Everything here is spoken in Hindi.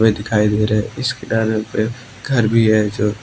दिखाई दे रहा हैं इस किनारे पे घर भी है जो--